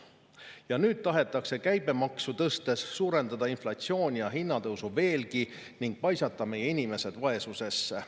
Ja nüüd tahetakse käibemaksu tõstes suurendada inflatsiooni ja hinnatõusu veelgi ning paisata meie inimesed vaesusesse.